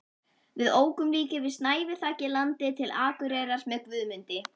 Við ókum líka yfir snæviþakið landið til Akureyrar með Guðmundi